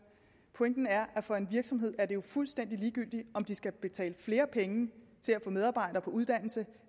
pointen er at for virksomheder er det jo fuldstændig ligegyldigt om de skal betale flere penge til at få medarbejdere på uddannelse